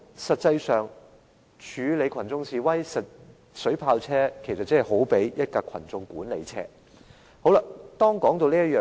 實際上，處理群眾示威，水炮車好比群眾管理車。